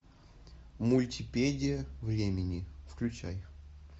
мультипедия времени включай